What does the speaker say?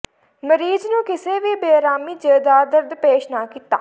ਮਰੀਜ਼ ਨੂੰ ਕਿਸੇ ਵੀ ਬੇਅਰਾਮੀ ਜ ਦਾ ਦਰਦ ਪੇਸ਼ ਨਾ ਕੀਤਾ